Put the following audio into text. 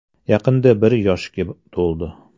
Yaqinda bir yoshga to‘ldi.